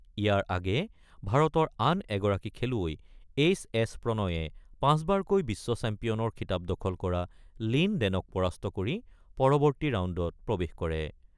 ইয়াৰ আগেয়ে ভাৰতৰ আন এগৰাকী খেলুৱৈ এইছ এছ প্ৰণয়ে পাঁচবাৰকৈ বিশ্ব চেম্পিয়নৰ খিতাপ দখল কৰা লিন ডেনক পৰাস্ত কৰি পৰৱৰ্তী ৰাউণ্ডত প্ৰৱেশ কৰে।